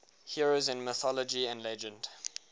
heroes in mythology and legend